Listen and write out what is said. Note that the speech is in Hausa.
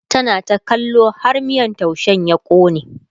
tana ta kallo har miyan taushen ya kone